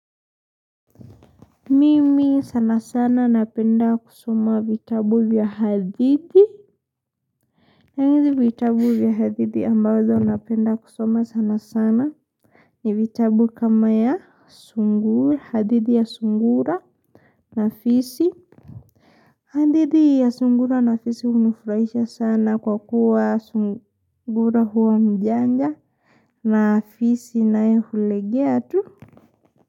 Mimi sana sana napenda kusoma vitabu vya hadithi na hizi vitabu vya hadithi ambazo napenda kusoma sana sana ni vitabu kama ya hadithi ya sungura na fisi hadithi ya sungura na fisi hunifurahisha sana kwa kuwa sungura huwa mjanja na fisi naye hulegea tu.